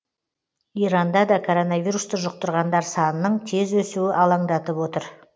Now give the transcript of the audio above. иранда да коронавирусты жұқтырғандар санының тез өсуі алаңдатып отыр